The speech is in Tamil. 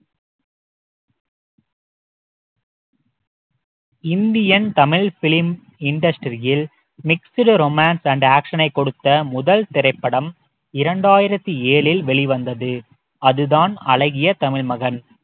இந்தியன் தமிழ் film industry யில் mixed romance and action ஐ கொடுத்த முதல் திரைப்படம் இரண்டாயிரத்தி ஏழில் வெளி வந்தது அதுதான் அழகிய தமிழ் மகன்